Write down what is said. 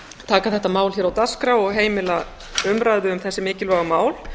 taka þetta mál hér á dagskrá og heimila umræðu um þessi mikilvægu mál